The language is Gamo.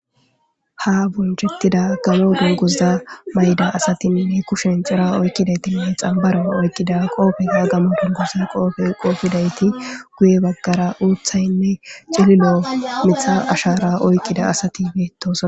Ha bonchettida galo donguza mayda asatinne kushen cira oykkidaytinnee xambara oykqida qoofegamo dongoza qoofe qoofidayti guye baggara uuthaynne cililo mitha ashara oyqqida asatibetosa.